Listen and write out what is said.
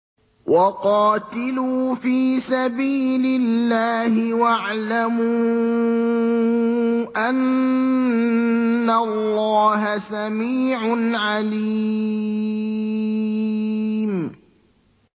وَقَاتِلُوا فِي سَبِيلِ اللَّهِ وَاعْلَمُوا أَنَّ اللَّهَ سَمِيعٌ عَلِيمٌ